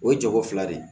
O ye jago fila de ye